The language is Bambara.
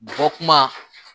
Bɔ kuma